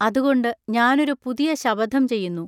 അതുകൊണ്ട് ഞാനൊരു പുതിയ ശപഥം ചെയ്യുന്നു.